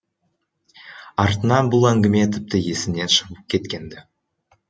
артынан бұл әңгіме тіпті есімнен шығып кеткен ді